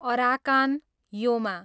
Arakan Yoma